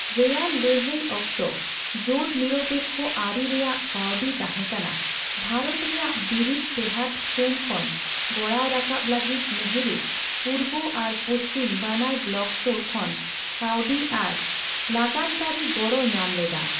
ᱨᱮᱭᱟᱲ ᱞᱟᱹᱲᱦᱟᱹᱭ ᱚᱠᱛᱚ ᱡᱳᱴᱼᱱᱤᱨᱚᱯᱮᱠᱠᱚ ᱟᱹᱨᱤ ᱨᱮᱭᱟᱜ ᱠᱟᱹᱣᱰᱤ ᱛᱟᱦᱮᱸ ᱠᱟᱱᱟ ᱵᱷᱟᱨᱚᱛ ᱨᱮᱭᱟᱜ ᱵᱤᱨᱤᱫ ᱴᱮᱦᱟᱴ ᱥᱩᱱ ᱠᱷᱚᱱ ᱜᱚᱲᱟᱣ ᱨᱟᱠᱟᱵ ᱞᱟᱹᱜᱤᱫ ᱱᱮᱦᱚᱨᱩ ᱯᱩᱨᱵᱚ ᱟᱨ ᱯᱚᱥᱪᱤᱢ ᱵᱟᱱᱟᱨ ᱵᱞᱚᱠ ᱥᱳᱨ ᱠᱷᱚᱱ ᱠᱟᱹᱣᱰᱤ ᱟᱨ ᱞᱟᱜᱟᱱ ᱠᱟᱹᱨᱤ ᱜᱚᱲ ᱧᱟᱢ ᱞᱮᱫᱟ ᱾